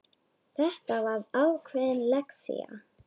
Þetta var ákveðin lexía.